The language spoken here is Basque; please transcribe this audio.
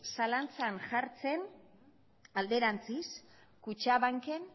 zalantzan jartzen alderantziz kutxabanken